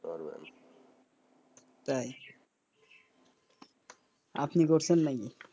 তাই আপনি করছেন নাকি?